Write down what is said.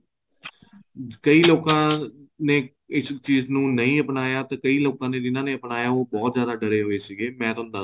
ਕਈ ਲੋਕਾ ਨੇ ਇਸ ਚੀਜ ਨੂੰ ਨਹੀਂ ਅਪਣਾਇਆ ਤੇ ਕਈ ਲੋਕਾ ਨੇ ਜਿੰਨਾ ਨੇ ਅਪਣਾਇਆ ਉਹ ਬਹੁਤ ਜਿਆਦਾ ਡਰੇ ਪਏ ਸੀਗੇ ਮੈਂ ਤੁਹਾਨੂੰ ਦੱਸਦਾ